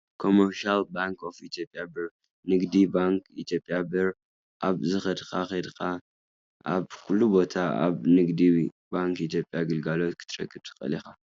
Commercial Bank of Ethiopian Birr ( ንግዲ ባንኪ ኢትዮጵያ ብር ኣብ ዝከድካ ኪድ ኣብ ኩሉ ቦታ ኣብ ንግዲ ባንኪ ኢትዮጵያ ግልጋሎት ክትረክብ ትክእል ኢካ፡፡